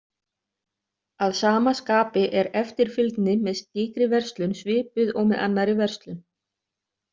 Að sama skapi er eftirfylgni með slíkri verslun svipuð og með annarri verslun.